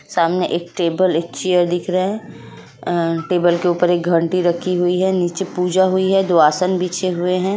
सामने एक टेबल एक चेयर दिख रहे है टेबल के उपर एक घंटी रखी हूई है नीचे पुजा हूई है दो आसान बिछे हुये हैं।